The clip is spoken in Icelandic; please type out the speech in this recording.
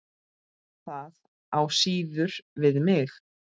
Það á síður við mig.